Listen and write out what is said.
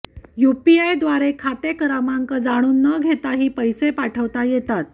यूपीआयद्वारे खाते क्रमांक जाणून न घेताही पैसे पाठवता येतात